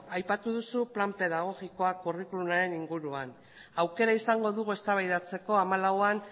aipatu duzu plan pedagogikoa curriculumaren inguruan aukera izango dugu eztabaidatzeko hamalauan